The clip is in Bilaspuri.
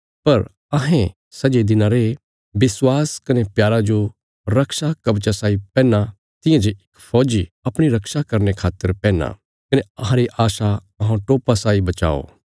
पर अहें सै जे दिनां रे विश्वास कने प्यारा जो रक्षा कवचा साई पैहना तियां जे इक फौजी अपणी रक्षा करने खातर पैहनां कने अहांरी आशा अहौं टोपा साई बचाओ